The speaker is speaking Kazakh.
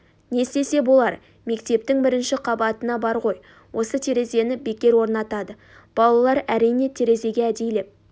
не істесе болар мектептің бірінші қабатына бар ғой осы терезені бекер орнатады балалар әрине терезеге әдейілеп